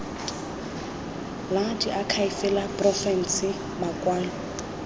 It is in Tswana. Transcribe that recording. la diakhaefe la porofense makwalo